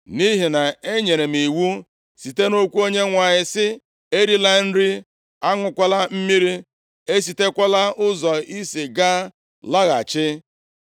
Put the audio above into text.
Nʼihi na-enyere m iwu site nʼokwu Onyenwe anyị, sị, ‘Erila nri, aṅụkwala mmiri, esitekwala ụzọ i si gaa laghachi.’ ”